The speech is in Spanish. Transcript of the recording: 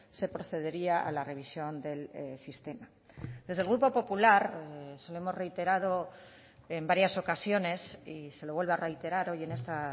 se procedería a la revisión del sistema desde el grupo popular se lo hemos reiterado en varias ocasiones y se lo vuelvo a reiterar hoy en esta